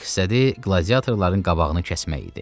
Məqsədi qladiatorların qabağını kəsmək idi.